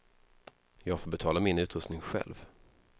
Jag får betala min utrustning själv.